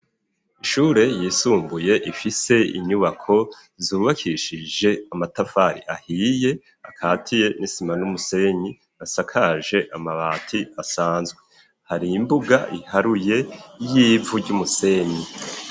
Ishure yisumbuye ifise inyubako zubakishije amatafari ahiye akatiye n'isima n'umusenyi asakaje amabati asanzwe. Hari imbuga iharuye y'ivu ry'umusenyi.